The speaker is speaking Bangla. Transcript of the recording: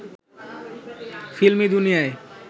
ফিল্মি দুনিয়ায়